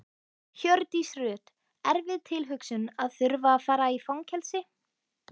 Hjördís Rut: Erfið tilhugsun að þurfa að fara í fangelsi?